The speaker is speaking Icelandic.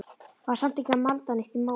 Var samt ekki að malda neitt í móinn.